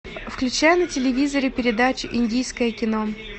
включай на телевизоре передачу индийское кино